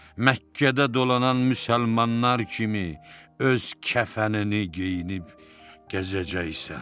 Məkkədə dolanan müsəlmanlar kimi öz kəfənini geyinib gəzəcəksən.